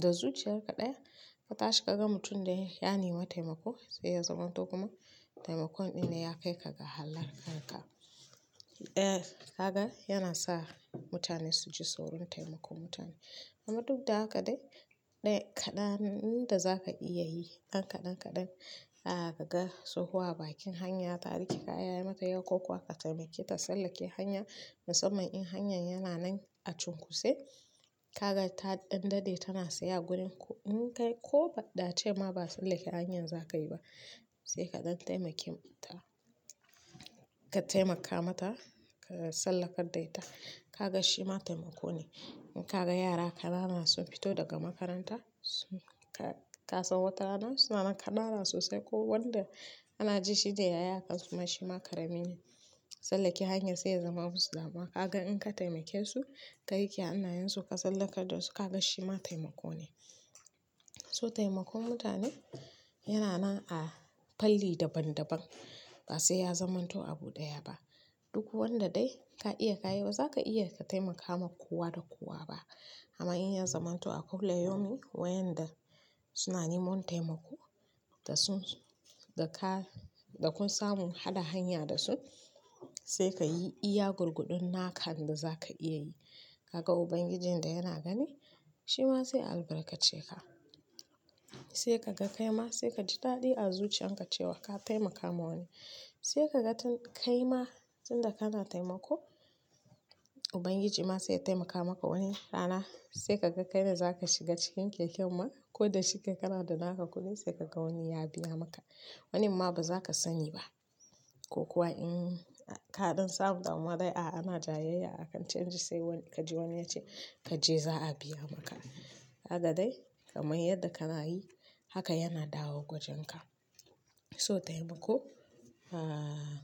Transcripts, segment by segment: da zuciyar kaɗaya ka tashi ka ga mutum dai ya nima taimako sai ya zamanto kuma taimakon ɗin ne ya kai ka ga halakanka. Eh, haka yana sa mutane su ji tsoron taimakon mutane. Amma duk da haka dai, dai kaɗan inda za ka iya yi, dan kaɗan-kaɗan, ah, ka ga tsohuwa a bakin hanya ta rike kaya yayi mata yawa ko kuwa ka taimake ta sallake hanya, musamman in hanyar yana nan a cunku sai kaga ta ɗan daɗe tana saya a gurin ko in kai ko ba ɗa ce ma ba sallake hanyar za ka yi ba, sai kaɗan taimake ta. Kataimaka mata ka tsallakar da ita kaga shima taimakone, inkaga yara kanana sun fito daga makaranta, sun ka kasan wata rana sunanan kanana sosai, ko wanda kanaji shine yayi hakan shima karamine tsallake hanyar sai ya zama musu damuwa. Kaga in ka taimake su, ka riqe hannayen su ka tsallakar da su ka ga shi ma taimako ne. So taimakon mutane yana nan a fanni daban-daban ba sai ya zamanto abu ɗaya ba. Duk wanda dai ka iya ka yi ba za ka iya ka taimaka ma kowa da kowa ba. Amma in ya zamanto a kullayaumi wayanda suna neman taimako da sun, da ka, da kun samu hada hanya da su, sai ka yi iya gurguɗon naka inda za ka iya yi. Kaga Ubangijin da yana gani? Shi ma sai ya albarkace ka. Sai ka ga kai ma sai ka ji daɗi a zuciyan ka cewa ka taimaka ma wani. Sai ka ga tun kai ma tun da kana taimako, Ubangiji ma sai ya taimaka maka wani rana. Sai ka ga kai ne za ka shiga cikin keken ma, ko da shike kana da naka kuɗi sai kaga wani ya biya maka. Wani ma ba za ka sani ba. Kokuwa in kadan samu damuwa dai ah ana jayayya akan canji sai kaji wani yace kaje za biya maka haka dai kamar yadda kana yi haka yana dawowa gwajenka. So taimako, ah,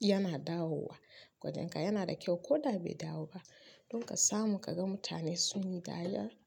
yana dawowa gwajenka yana da kyau ko da bai dawo ba. Dun ka samu ka ga mutane sun yi dariya.